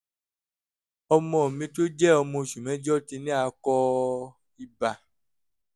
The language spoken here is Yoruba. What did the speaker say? ọmọ mi tó jẹ́ ọmọ oṣù mẹ́jọ ti ní akọ ibà